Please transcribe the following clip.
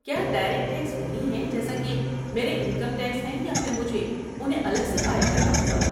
کیا direct tax وہی ہیں جیسا کہ میرے انکم ٹیکس ہیں یا پھر مجھے انہیں الگ سے فائل کرنا ہوگا؟